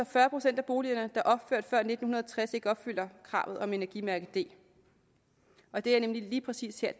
fyrre procent af boligerne er opført før nitten tres ikke opfylder kravet om energimærke d og det er nemlig lige præcis her